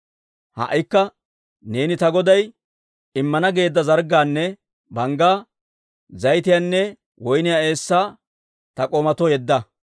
«Ha"ikka neeni ta goday immana geedda zarggaanne banggaa, zayitiyaanne woyniyaa eessaa ta k'oomatoo yedda.